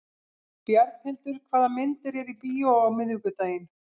Bjarnhildur, hvaða myndir eru í bíó á miðvikudaginn?